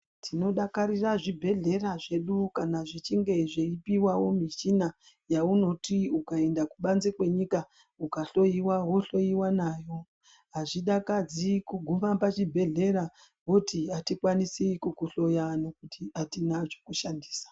Tinodakarira zvibhedhlera zvedu kana zvichinge zveipuwawo michina yaunoti ukaenda kubanze kwenyika kohloiwa wohloiwa nayo azvidakidzi kuguma pachibhedhlera voti atikwanisi kuhloya nekuti atina zvekushandisa.